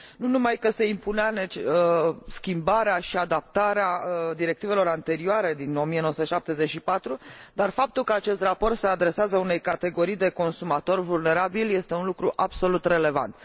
Nu numai că se impunea schimbarea și adaptarea directivelor anterioare din 1974, dar faptul că acest raport se adresează unei categorii de consumatori vulnerabili este un lucru absolut relevant.